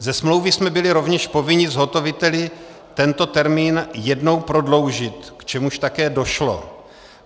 Ze smlouvy jsme byli rovněž povinni zhotoviteli tento termín jednou prodloužit, k čemuž také došlo.